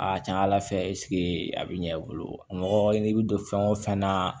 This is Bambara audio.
A ka ca ala fɛ a bɛ ɲɛ i bolo mɔgɔ i bɛ don fɛn o fɛn na